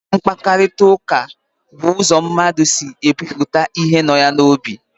Mkpakọrịtaụka bụ ụzọ mmadụ si ekwupụta ihe nọ ya n'obi.